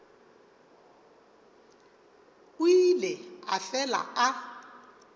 o ile a fela a